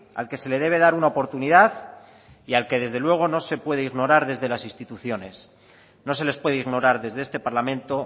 al que se le debe dar una oportunidad y al que desde luego no se puede ignorar desde las instituciones no se les puede ignorar desde este parlamento